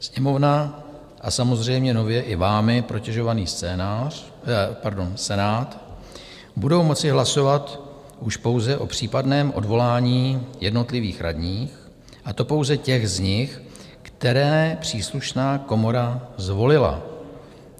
Sněmovna a samozřejmě nově i vámi protežovaný Senát budou moci hlasovat už pouze o případném odvolání jednotlivých radních, a to pouze těch z nich, které příslušná komora zvolila.